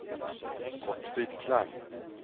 Gottfrid Klang